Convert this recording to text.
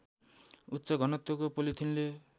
उच्च घनत्वको पोलिथिनले